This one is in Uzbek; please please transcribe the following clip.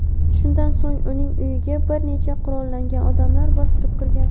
shundan so‘ng uning uyiga bir nechta qurollangan odamlar bostirib kirgan.